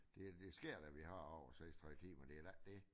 Det det sker da vi har over 36 timer det da ikke det